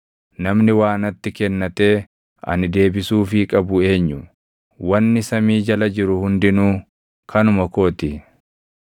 Namni waa natti kennatee ani deebisuufii qabu eenyu? Wanni samii jala jiru hundinuu kanuma koo ti.